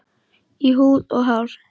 Í húð og hár.